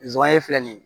Zonzannin filɛ nin ye